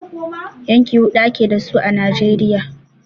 Yanki huɗu ake dasu a Najeriya.